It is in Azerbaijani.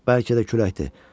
Bəlkə də küləkdir.